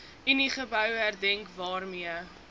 uniegebou herdenk waarmee